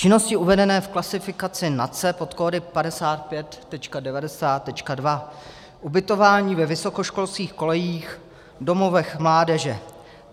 Činnosti uvedené v klasifikaci NACE pod kódy 55.90.2 - ubytování ve vysokoškolských kolejích, v domovech mládeže.